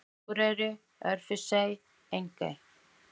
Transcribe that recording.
Akurey, Örfirisey og Engey.